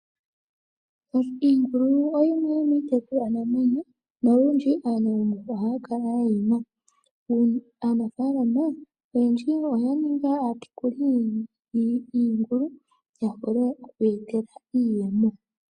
Iingulu oyimwe yomiitekulwanamwenyo, nolundji aantu oye dji ohaya kala yeyi na. Aanafaalama oyendji oya ninga aatekuli yiingulu, ya vule okwiipela iiyemo.